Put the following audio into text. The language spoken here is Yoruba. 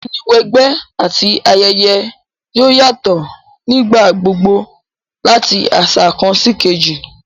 Ìmúniwẹgbẹ́ àti ayẹyẹ yoo yatọ nígbà gbogbo lati aṣa kan síkejì